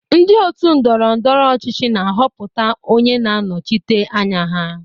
Ndị ótù ndọrọ ndọrọ ọchịchị na-ahọpụta onye na-anọchite anya ha.